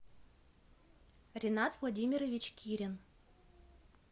ренат владимирович кирин